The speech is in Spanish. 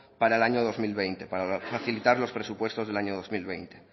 para el año dos mil veinte para facilitar los presupuestos del año dos mil veinte